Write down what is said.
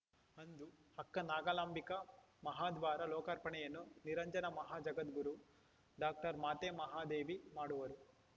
ಅಂದು ಅಕ್ಕ ನಾಗಲಾಂಬಿಕಾ ಮಹಾದ್ವಾರ ಲೋಕಾರ್ಪಣೆಯನ್ನು ನಿರಂಜನ ಮಹಾಜಗದ್ಗುರು ಡಾಕ್ಟರ್ ಮಾತೆ ಮಹಾದೇವಿ ಮಾಡುವರು